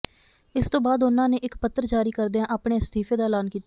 ਇਸ ਤੋਂ ਬਾਅਦ ਉਹਨਾਂ ਨੇ ਇੱਕ ਪੱਤਰ ਜਾਰੀ ਕਰਦਿਆਂ ਆਪਣੇ ਅਸਤੀਫੇ ਦਾ ਐਲਾਨ ਕੀਤਾ